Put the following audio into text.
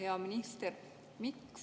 Hea minister!